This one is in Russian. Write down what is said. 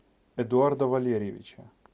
эдуарда валерьевича